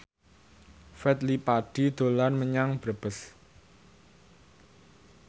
Fadly Padi dolan menyang Brebes